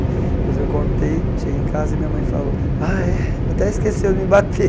Depois eu contei, cheguei em casa e minha mãe falou, ah é até esqueceu de me bater.